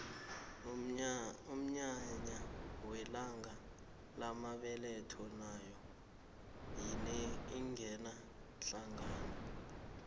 umnyanya welanga lamabetho nayo ingena hlangana